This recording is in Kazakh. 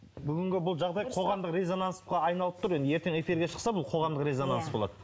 бүгінгі бұл жағдай қоғамдық резонансқа айналып тұр енді ертең эфирге шықса бұл қоғамдық резонанс болады